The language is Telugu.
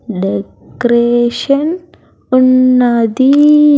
డెకొరేషన్ ఉన్నది.